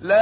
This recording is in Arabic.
لَا